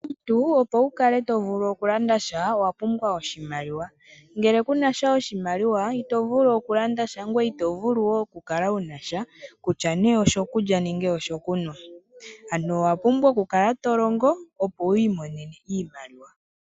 Omuntu opo wu kale to vulu oku landa sha owa pumbwa oshimaliwa ngele kunasha oshimaliwa ito vulu oku landa sha ngoye ito vulu wo oku kala wu nasha kutya nee osho kulya nenge osho kunwa ano owa pumbwa oku kala to longo opo wi imonene iimaliwa.